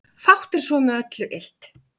Fátt er svo með öllu illt